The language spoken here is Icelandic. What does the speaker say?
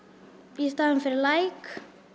í staðinn fyrir like